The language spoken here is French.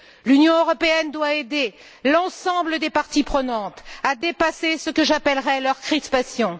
L'Union européenne doit aider l'ensemble des parties prenantes à dépasser ce que j'appellerai leurs crispations.